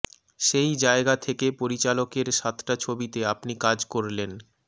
সেই জায়গা থেকে পরিচালকের সাতটা ছবিতে আপনি কাজ করলেন